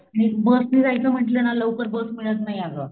आणिक बस नि जायचं म्हणलं ना लवकर बस मिळत नाही अगं